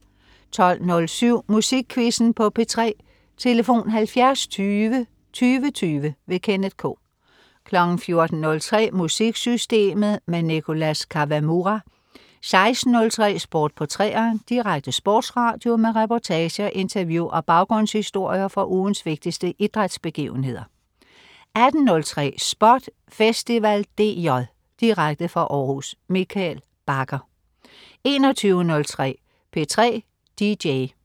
12.07 Musikquizzen på P3. Tlf.: 70 20 20 20. Kenneth K 14.03 MusikSystemet. Nicholas Kawamura 16.03 Sport på 3'eren. Direkte sportsradio med reportager, interview og baggrundshistorier fra ugens vigtigste idrætsbegivenheder 18.03 SPOT Festival DJ. Direkte fra Århus. Mikkel Bagger 21.03 P3 DJ